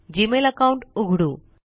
Gmail account उघडू